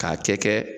K'a kɛ